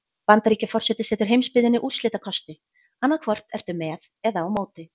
Bandaríkjaforseti setur heimsbyggðinni úrslitakosti: annað hvort ertu með eða á móti.